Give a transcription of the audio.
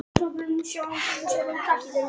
Kimbi rétti fram höndina og vildi taka hringinn.